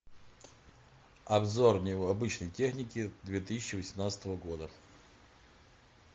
обзор необычной техники две тысячи восемнадцатого года